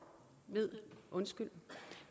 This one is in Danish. ved